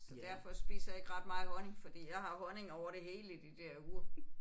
Så derfor spiser jeg ikke ret meget honning fordi jeg har honning over det hele i de der uger